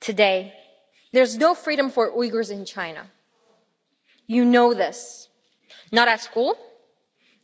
Today, there is no freedom for Uyghurs in China you know this not at school,